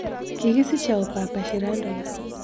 Kigisiche au papa shirandula